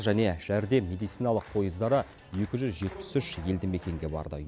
және жәрдем медициналық пойыздары екі жүз жетпіс үш елді мекенге барды